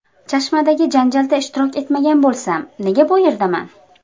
Chashmadagi janjalda ishtirok etmagan bo‘lsam, nega bu yerdaman?